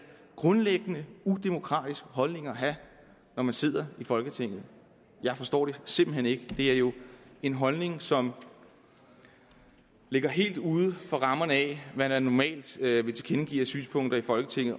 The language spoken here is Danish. grundlæggende udemokratisk holdning at have når man sidder i folketinget jeg forstår det simpelt hen ikke det er jo en holdning som ligger helt uden for rammerne af hvad det normalt er vi tilkendegiver af synspunkter i folketinget